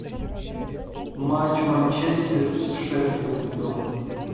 матч манчестер с шеффилдом